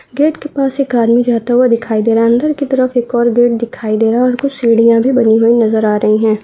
Gate के पास एक आदमी जाता हुआ दिखाई दे रहा है अंदर की तरफ एक और गेट दिखाई दे रहा है और कुछ सीढ़ियां भी बनी हुई नजर आ रही है।